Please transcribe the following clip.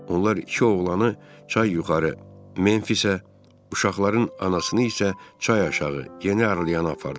Onlar iki oğlanı çay yuxarı Memfisə, uşaqların anasını isə çay aşağı Yeni Arliyana apardılar.